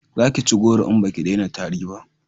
za ki ci goro in baki dena tari ba!